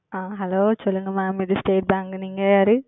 ஆஹ் Hello சொல்லுங்க Ma'am இது State Bank நீங்க யாரு?